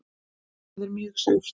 Það er mjög sárt.